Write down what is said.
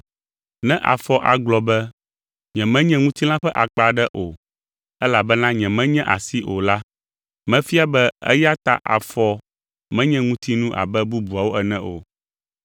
Ne afɔ agblɔ be, “Nyemenye ŋutilã ƒe akpa aɖe o, elabena nyemenye asi o” la, mefia be eya ta afɔ menye ŋutinu abe bubuawo ene o.